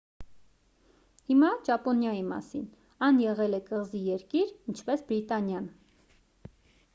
հիմա ճապոնիայի մասին այն եղել է կղզի երկիր ինչպես բրիտանիան